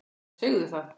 Já, segðu það!